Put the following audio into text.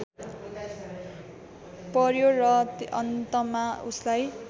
पर्‍यो र अन्तमा उसलाई